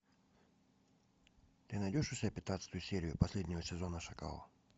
ты найдешь у себя пятнадцатую серию последнего сезона шакала